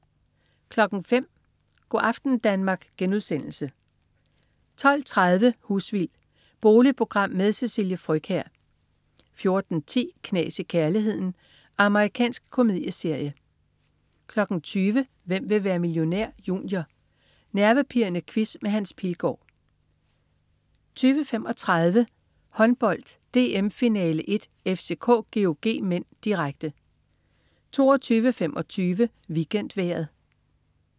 05.00 Go' aften Danmark* 12.30 Husvild. Boligprogram med Cecilie Frøkjær 14.10 Knas i kærligheden. Amerikansk komedieserie 20.00 Hvem vil være millionær? Junior. Nervepirrende quiz med Hans Pilgaard 20.35 Håndbold: DM-finale 1. FCK-GOG (m), direkte 22.25 WeekendVejret